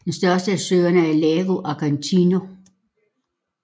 Den største af søerne er Lago Argentino